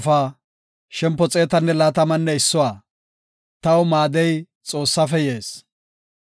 Taw maadoy awupe yaane gada, taani deretako xeellas.